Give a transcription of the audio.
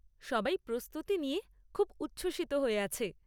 সবাই প্রস্তুতি নিয়ে খুব উচ্ছ্বসিত হয়ে আছে।